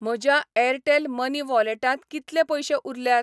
म्हज्या Airtel money वॉलेटांत कितले पयशे उरल्यात?